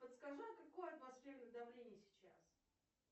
подскажи какое атмосферное давление сейчас